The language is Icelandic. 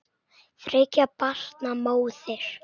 Þriggja barna móðir.